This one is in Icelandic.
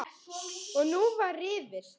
Og nú var rifist.